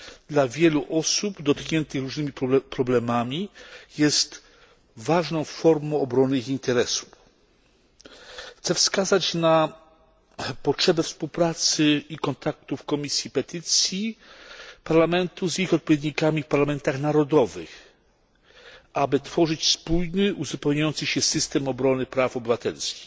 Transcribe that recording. Dla wielu osób dotkniętych różnymi problemami jest ważną formą obrony ich interesów. Chcę wskazać na potrzebę współpracy i kontaktów Komisji Petycji Parlamentu z ich odpowiednikami w parlamentach narodowych, tak, aby tworzyć wspólny i uzupełniający się system obrony praw obywatelskich.